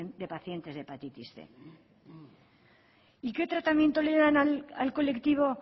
de pacientes de hepatitis cien y qué tratamiento le dan al colectivo